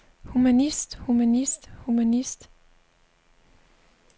humanist humanist humanist